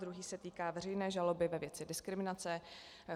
Druhý se týká veřejné žaloby ve věci diskriminace.